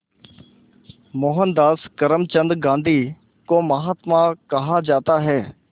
मोहनदास करमचंद गांधी को महात्मा कहा जाता है